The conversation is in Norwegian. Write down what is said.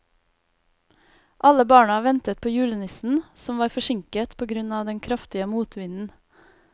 Alle barna ventet på julenissen, som var forsinket på grunn av den kraftige motvinden.